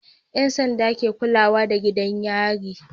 Yan sanda ke kulada da gidan yari